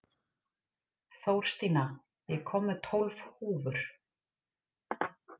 Þórstína, ég kom með tólf húfur!